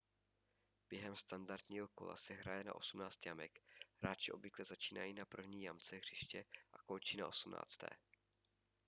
během standardního kola se hraje na osmnáct jamek hráči obvykle začínají na první jamce hřiště a končí na osmnácté